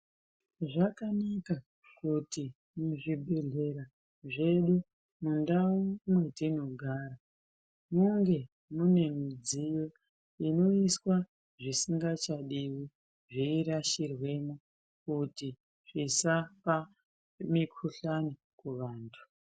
Zvakanaka kuti muzvibhedhlera zvedu mundau mwetinogara munge mune midziyo inoiswa zvisingachadiwi zveirashirwemwo kuti zvisapa mikuhlani kuvantu.